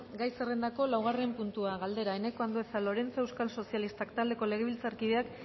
gai zerrendako laugarren puntua galdera eneko andueza lorenzo euskal sozialistak taldeko legebiltzarkideak